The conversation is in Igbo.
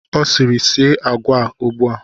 Ọ sịrị, sie agwa a ugbu a!